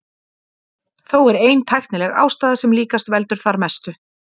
Þó er ein tæknileg ástæða sem líklega veldur þar mestu.